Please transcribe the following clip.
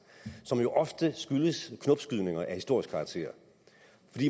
som jo ofte skyldes knopskydninger af historisk karakter